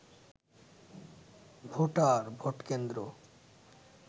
voter, vote কেন্দ্র